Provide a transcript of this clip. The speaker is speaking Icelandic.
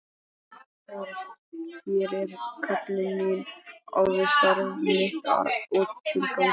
Hér er köllun mín, ævistarf mitt og tilgangur.